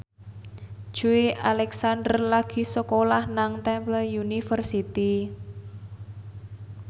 Joey Alexander lagi sekolah nang Temple University